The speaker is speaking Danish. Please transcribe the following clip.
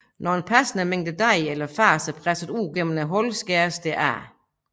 Når en passende mængde dej eller fars er presset ud gennem hullet skæres det af